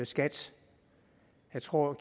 skat jeg tror